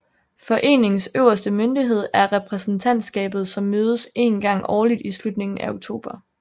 Foreningens øverste myndighed er repræsentantskabet som mødes en gang årligt i slutningen af oktober